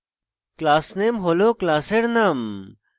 classname হল class name